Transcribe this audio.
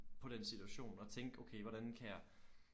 På den situation og tænke okay hvordan kan jeg